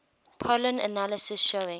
pollen analysis showing